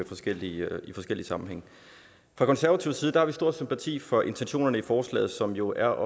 forskellige sammenhænge fra konservativ side har vi stor sympati for intentionerne i forslaget som jo er